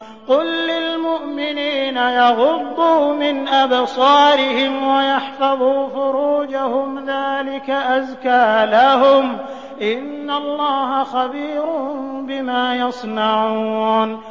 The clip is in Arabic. قُل لِّلْمُؤْمِنِينَ يَغُضُّوا مِنْ أَبْصَارِهِمْ وَيَحْفَظُوا فُرُوجَهُمْ ۚ ذَٰلِكَ أَزْكَىٰ لَهُمْ ۗ إِنَّ اللَّهَ خَبِيرٌ بِمَا يَصْنَعُونَ